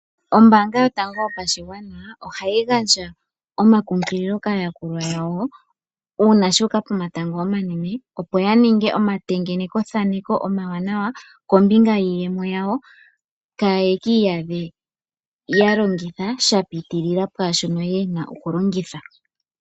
Ombaanga yotango yopashigwana ohayi gandja omakumagidho kaayakulwa yawo, uuna shu uka pomatango omanene, opo ya ninge omatengenekothaneko omawanawa kombinga yiiyemo yawo kaaye ki iyadhe ya longitha sha pitilila pwaa shono ye na okulongitha.